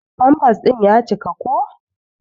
Pampas din ƴa cika ko.